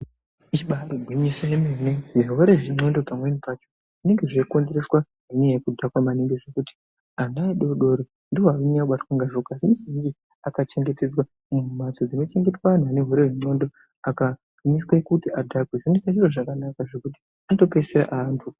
Ibairi gwinyiso ye mene zvirwere zve ndxondo pamweni pacho zvinenge zvei konzereswa ne nyaya yeku dhakwa maningi zvekuti ana adodori ndo anonyanya kubatwa ngazvo ma zhinji zhinji aka chengetedzwa mu mhatso dzino chengetwa anhu ane urwere hwe ndxondo aka miswe kuti adhakwe zvinoita zviro zvakanaka zvekuti ano peesira a antu.